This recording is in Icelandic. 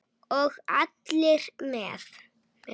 Og allir með.